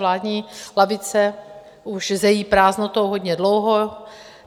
Vládní lavice už zejí prázdnotou hodně dlouho.